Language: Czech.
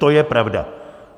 To je pravda.